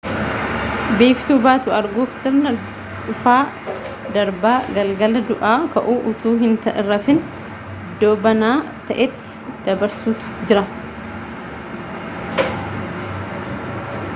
biiftuu baatu arguuf sirna dhufaa-darbaa galgala du'aa ka'uu utuu hin rafin iddoo banaa ta'etti dabarsuutu jira